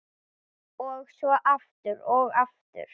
Og svo aftur, og aftur.